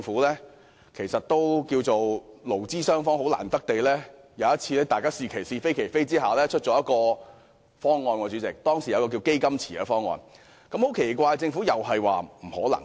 可以說句，勞資雙方難得在"是其是，非其非"之下得出稱為"基金池"的方案，但主席，奇怪的是，政府又表示不可能。